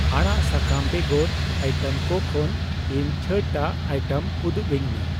ᱟᱲᱟᱜ ᱥᱟᱠᱟᱢ ᱵᱮᱜᱚᱨ ᱤᱭᱴᱮᱢ ᱠᱩ ᱠᱷᱚᱱ ᱤᱧ ᱪᱷᱟᱹᱲᱴᱟᱜ ᱟᱭᱴᱮᱢ ᱩᱫᱩᱜᱟᱹᱧ ᱢᱮ ᱾